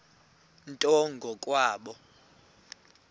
nto ngo kwabo